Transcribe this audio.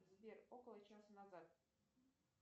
сбер около часа назад